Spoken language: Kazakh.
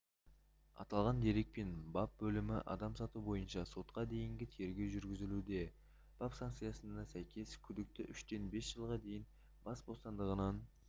аталған дерекпен бап бөлімі адам сату бойынша сотқа дейінгі тергеу жүргізілуде бап санкциясына сәйкес күдікті үштен бес жылға дейін бас бостандығынан